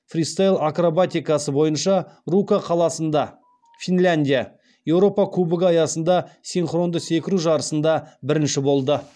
фристайл акробатикасы бойынша рука қаласында еуропа кубогі аясында синхронды секіру жарысында бірінші болды